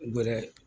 Gɛrɛ